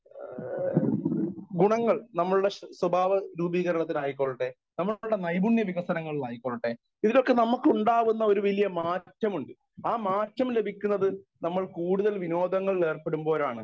Speaker 1 ഏഹ് ഗുണങ്ങൾ നമ്മളുടെ സ്വഭാവ രൂപീകരത്തിനായ് കൊള്ളട്ടെ നമ്മുടെ നൈപുണ്ണ്യ വികസനങ്ങളിൽ ആയിക്കൊള്ളട്ടെ ഇതിലൊക്കെ നമുക്കുണ്ടാവുന്ന ഒരു വലിയ മാറ്റമുണ്ട് ആ മാറ്റം ലഭിക്കുന്നത് നമ്മൾ കൂടുതൽ വിനോദങ്ങളിൽ ഏർപ്പെടുമ്പോഴാണ്.